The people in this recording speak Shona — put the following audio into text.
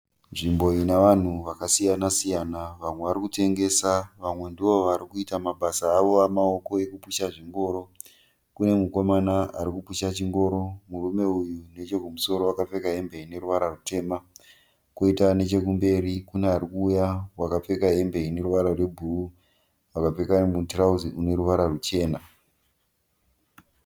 Nzvimbo inavanhu vakasiya siyana. Vamwe varikutengesa, vamwe ndovarikuita mabasa avo emaoko ekupusha zvingoro. Kunemukomana arikupusha chingoro. Murume uyu nechekumusoro akacheka hembe ineruvara rutema. Koita nechekumberi kune arikuuya wakapfeka hembe ine ruvara rwubhuruwu, wakapfeka mutirauzi rineruvara ruchena.